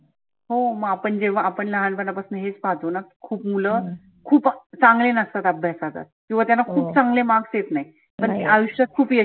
हो मग आपण जेव्हा आपण लहानपना पसन हेच पाहतो ना खुप मुलं खुप चांगले नसतात अभ्यासात. किंवा त्यांना खुप चांगले marks येत नाहीत पण ते आयुष्यात खुप यशस्वी